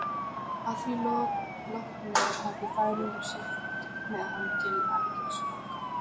Að því loknu hafði Færeyingurinn siglt með hann til Algeirsborgar.